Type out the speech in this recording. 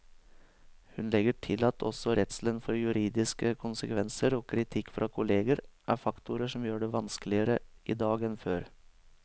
Hun legger til at også redselen for juridiske konsekvenser og kritikk fra kolleger er faktorer som gjør det vanskeligere i dag enn før.